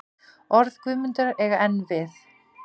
Orð Guðmundar eiga enn við.